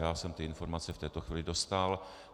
Já jsem ty informace v tuto chvíli dostal.